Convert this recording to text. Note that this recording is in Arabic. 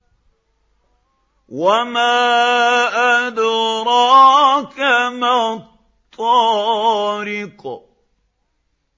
وَمَا أَدْرَاكَ مَا الطَّارِقُ